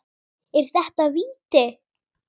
Er þetta víti?